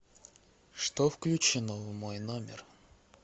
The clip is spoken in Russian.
что включено в мой номер